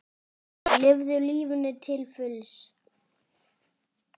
Lifðu lífinu til fulls!